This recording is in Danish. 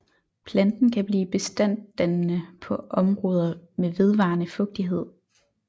Planten kan blive bestanddannende på områder med vedvarende fugtighed